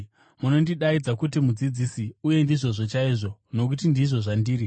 Munondidaidza kuti ‘Mudzidzisi’ uye ndizvozvo chaizvo, nokuti ndizvo zvandiri.